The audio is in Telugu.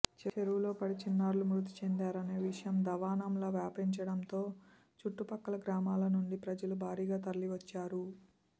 చెరువులో పడి చిన్నారులు మృతి చెందారనే విషయం దావానంలా వ్యాపించడంతో చుట్టుపక్కల గ్రామల నుంచి ప్రజలు భారీగా తరలివచ్చారు